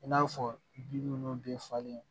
I n'a fɔ bin nunnu bɛɛ falen